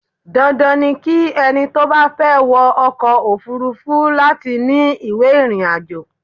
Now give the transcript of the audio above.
Dandan ni ki ẹni tó bá fẹ́ wọ ọkọ òfúrúfú láti ní ìwé ìrìnàjò.